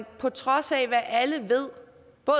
på trods af at alle ved